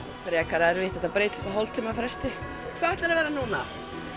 frekar erfitt þetta breytist á hálftíma fresti hvað ætlarðu að vera núna